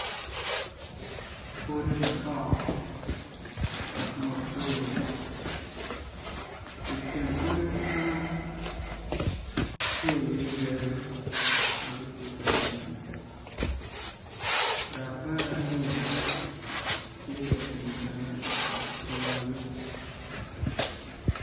Odi madongo dok maboco i kin odi meno tye iye yadi ma gitye ka twi dok ben lum bene tye ka twi bene i kin odi meno.